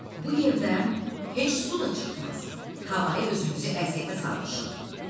Bu yerdən heç su da çıxmaz, havayı özümüzü əziyyətə salmışıq.